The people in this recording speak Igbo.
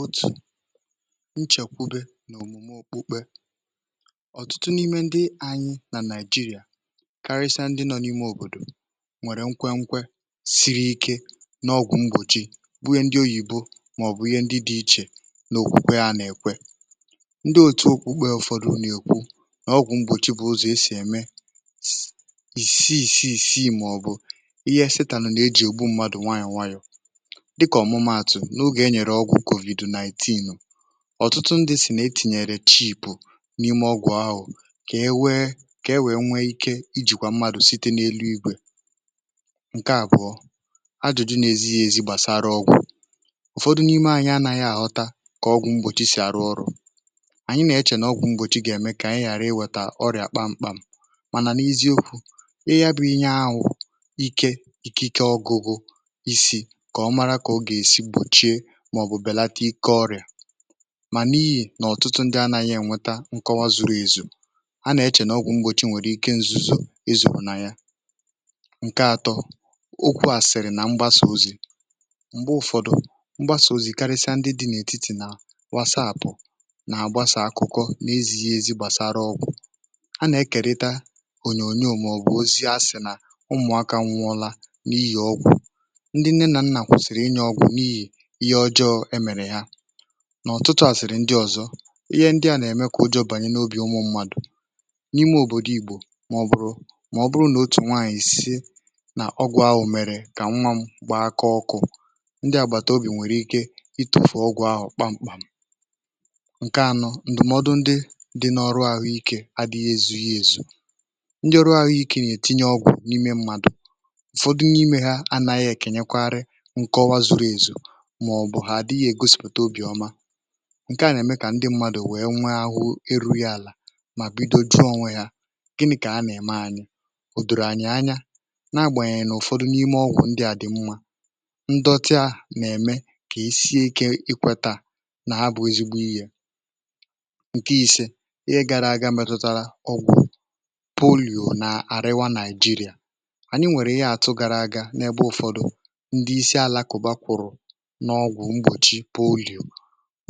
otù nchèkwe n’òmùme okpukpe ọ̀tụtụ n’ime ndị anyị nà Nigeria um karịsa ndị nọ n’ime òbòdò nwèrè nkwe nkwe siri ike n’ọgwụ̀ mgbòchi bu ye ndị oyìbo màọ̀bụ̀ ihe ndị dị̇ ichè n’òkwukwe a nà-èkwe ndị òtù okpukpe ụ̀fọdụ nà-èkwu nà ọgwụ̀ mgbòchi bụ̀ ụzọ̀ e sì ème ìsi ìsi ìsi màọ̀bụ̀ ihe setà nọ̀ n’à e jì ùgbu mmadụ̀ nwayọ̀ nwayọ̀ n’oge enyere ọgwụ̇ COVID-nineteen ọtụtụ ndị si na etìnyèrè chips n’ime ọgwụ̀ ahụ̀ ka e wee ka e wee nwee ike ijìkwà mmadụ̀ site n’elu igwè ǹke àbụ̀ọ ajụ̇jụ n’ezi ya ezi gbàsara ọgwụ̀ ụ̀fọdụ n’ime anyị anaghị àhọta ka ọgwụ̇ mgbochi si arụ ọrụ̇ ànyị na-eche nà ọgwụ̇ mgbochi ga-eme kà ànyị ghàra iwėta ọrịà kpamkpam mànà n’eziokwu ị ya bụ inye ahụ̀ ike ike ọgụgụ màọ̀bụ̀ bèlata ike ọrịà mà n’ihì nà ọ̀tụtụ ndị anȧghị̇ ènweta nkọwa zuru ezù a nà-echè n’ọgwụ̇ mgbòchi nwèrè ike nzuzù ezu bù nà ya ǹke atọ okwu à sị̀rị̀ nà mgbasà ozi̇ m̀gbe ụfọdụ mgbasà ozi̇ karịsịa ndị dị̇ n’ètitì um nà wàsà àpụ̀ nà àgbasà akụkọ n’ịzị̇ ihe ezi gbàsara ọgwụ̀ a nà-ekerịta ònyònyò màọ̀bụ̀ ozi a sị̀ nà ụmụ̀akȧ nwụọla n’ihì ọgwụ̀ ndị nne nà nnà kwụ̀sị̀rị̀ inyė ọgwụ̀ ihe ọjọọ e mèrè ya nà ọ̀tụtụ àsịrị ndị ọ̀zọ ihe ndị a nà-èmekwụ jọ bànyè n’obì ụmụ̇ mmadụ̀ n’ime òbòdò ìgbò màọ̀bụ̀rụ̀ màọ̀bụ̀rụ̀ n’otù nwaànyìsie nà ọgwụ̀ ahụ̀ kà ṁwȧ m kpaa kọọ ọkụ̇ ndị àgbàtàobì nwèrè ike itòfù ọgwụ̀ ahụ̀ kpamkpàm ǹkè anọ ǹdụ̀mọdụ ndị dị n’ọrụ àhụ ikė adị̇ghị ezughị èzù ndị ọrụ àhụ ikė nà-ètinye ọgwụ̀ n’ime mmadụ̀ ụ̀fọdụ n’ime ha anȧghị èkènyekwarị um màọ̀bụ̀ hà àdịghị ègosìpụ̀ta obì ọma ǹkè a nà-ème kà ndị mmadụ̀ wee nwe ahụ erughi àlà mà bido ju ȯnwė hȧ gịnị̇ kà a nà-ème anyị̇ ụ̀dọ̀rọ̀ anyị̀ anya nȧ-agbànyènyè um n’ụ̀fọdụ n’ime ọgwụ̀ ndị à dị̀ mmȧ ndọta nà-ème kà isie ikė ikweta nà ha bụ̇ ezigbo iyė ǹke i̇se ihe gara aga metụtara ọgwụ̀ poli̇ò nà-àriwa Naịjirịà anyị nwèrè ihe àtụ gara aga n’ebe ụ̀fọdụ ndị isi alakụ̀ bà kwụ̀rụ̀ n’ọgwụ̀ mgbòchi polim